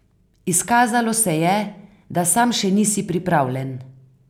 Izkazalo se je, da sam še nisi pripravljen.